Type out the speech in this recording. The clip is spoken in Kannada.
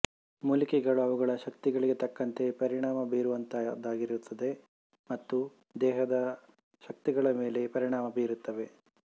ಮೂಲಿಕೆಗಳು ಅವುಗಳ ಶಕ್ತಿಗಳಿಗೆ ತಕ್ಕಂತೆ ಪರಿಣಾಮ ಬೀರುವಂತಹುದಾಗಿರುತ್ತದೆ ಮತ್ತು ದೇಹದ ಶಕ್ತಿಗಳ ಮೇಲೆ ಪರಿಣಾಮ ಬೀರುತ್ತವೆ